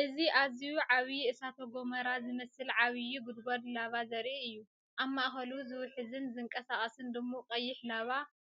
እዚ ኣዝዩ ዓቢ እሳተ ጎመራ ዝመስል ዓቢ ጉድጓድ ላቫ ዘርኢ እዩ። ኣብ ማእከሉ ዝውሕዝን ዝንቀሳቐስን ድሙቕ ቀይሕ ላቫ